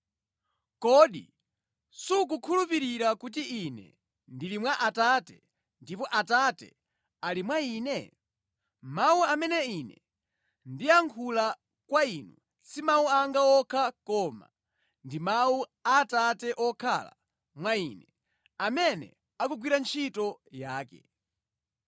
Kodi sukukhulupirira kuti Ine ndili mwa Atate, ndipo Atate ali mwa Ine? Mawu amene Ine ndiyankhula kwa inu si mawu anga okha koma ndi mawu Atate wokhala mwa Ine, amene akugwira ntchito yake.